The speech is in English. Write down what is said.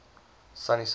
sunnyside